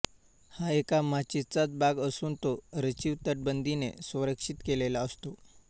हा एका माचीचाच भाग असून तो रचिव तटबंदीने सरंक्षीत केलेलो आहे